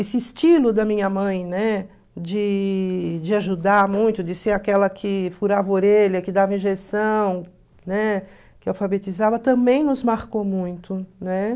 Esse estilo da minha mãe, né, de de ajudar muito, de ser aquela que furava a orelha, que dava injeção, né, que alfabetizava, também nos marcou muito.